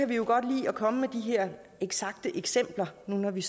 vi jo godt lide at komme med de her eksakte eksempler når vi